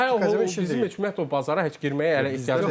Bizim heç ümumiyyətlə o bazara heç girməyə hələ ehtiyacımız yoxdur.